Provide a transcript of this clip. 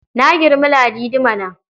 Na girmi Ladi mana.